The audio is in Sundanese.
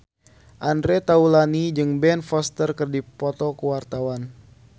Andre Taulany jeung Ben Foster keur dipoto ku wartawan